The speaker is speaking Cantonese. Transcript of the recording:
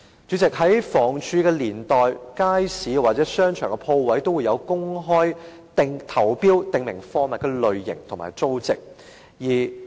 主席，在房屋署的年代，街市或商場的鋪位都會進行公開投標，訂明貨物的類型和租值。